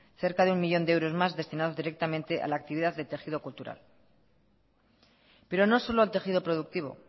cerca de un millón de euros más destinados directamente a la actividad del tejido cultural pero no solo al tejido productivo